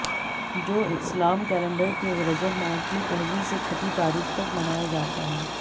जो इस्लाम कैलेंडर के रजब माह की पहली से छठी तारीख तक मनाया जाता है